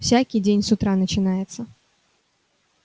всякий день с утра начинается